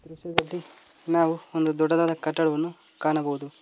ದೃಶ್ಯದಲ್ಲಿ ನಾವು ಒಂದು ದೊಡ್ಡದಾದ ಕಟ್ಟಡವನ್ನು ಕಾಣಬಹುದು.